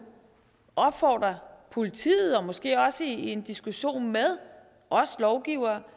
opfordre politiet måske også i en diskussion med os lovgivere